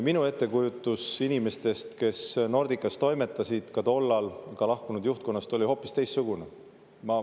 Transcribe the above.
Minu ettekujutus inimestest, kes Nordicas toimetasid tollal, ka lahkunud juhtkonnast, oli hoopis teistsugune.